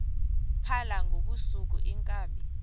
phala ngobusuku iinkabi